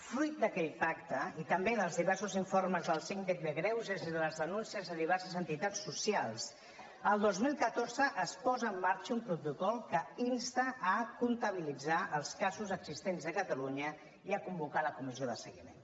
fruit d’aquell pacte i també dels diversos informes del síndic de greuges i de les denúncies de diverses entitats socials el dos mil catorze es posa en marxa un protocol que insta a comptabilitzar els casos existents a catalunya i a convocar la comissió de seguiment